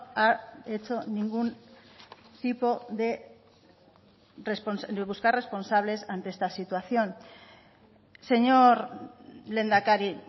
ha hecho ningún tipo de buscar responsables ante esta situación señor lehendakari